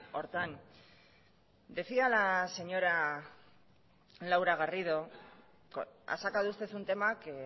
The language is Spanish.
horretan decía la señora laura garrido ha sacado usted un tema que